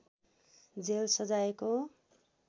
jail सजायको